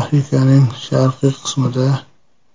Afrikaning sharqiy qismida